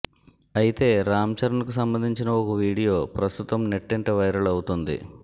అయితే రామ్ చరణ్ కు సంబంధించిన ఓ వీడియో ప్రస్తుతం నెట్టింట వైరల్ అవుతుంది